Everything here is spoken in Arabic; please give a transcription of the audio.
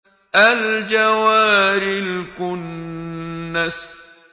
الْجَوَارِ الْكُنَّسِ